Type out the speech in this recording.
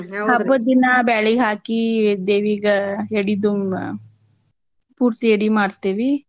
ಹಬ್ಬದ್ ದಿನಾ ಬ್ಯಾಳಿಹಾಕೀ ದೇವಿಗ ಎಡಿ ಪೂರ್ತಿ ಎಡಿ ಮಾಡ್ತೇವಿ.